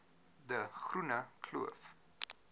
de groene kloof